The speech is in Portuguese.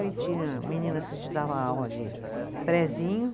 Aí tinha meninas que a gente dava aula de prézinho.